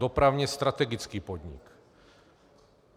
Dopravně strategický podnik.